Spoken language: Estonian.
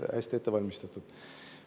Hästi ette valmistatud.